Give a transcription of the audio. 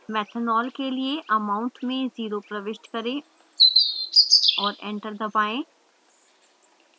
methanol के लिए amount में 0 प्रविष्ट करें और enter दबाएँ